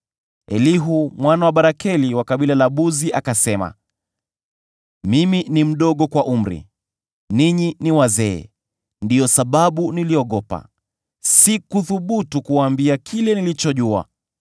Basi Elihu mwana wa Barakeli wa kabila la Buzi akasema: “Mimi ni mdogo kwa umri, nanyi ni wazee; ndiyo sababu niliogopa, sikuthubutu kuwaambia kile ninachojua.